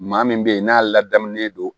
Maa min bɛ yen n'a ladamulen don